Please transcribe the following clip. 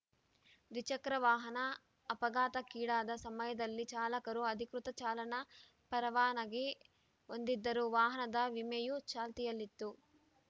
ದ್ವಿಚಕ್ರ ವಾಹನ ಅಪಘಾತಕ್ಕೀಡಾದ ಸಮಯದಲ್ಲಿ ಚಾಲಕರು ಅಧಿಕೃತ ಚಾಲನಾ ಪರವಾನಗಿ ಹೊಂದಿದ್ದರು ವಾಹನದ ವಿಮೆಯೂ ಚಾಲ್ತಿಯಲ್ಲಿತ್ತು